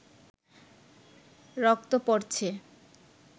রক্ত পড়ছে